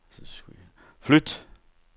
flyt